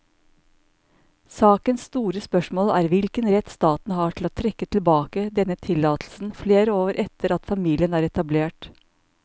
Sakens store spørsmål er hvilken rett staten har til å trekke tilbake denne tillatelsen flere år etter at familien er etablert.